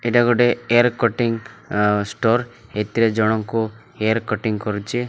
ଏଇଟା ଗୋଟେ hair cutting store ଏତିରେ ଜଣଙ୍କୁ ହେୟାର୍ କଟିଙ୍ଗ୍ କରୁଚି।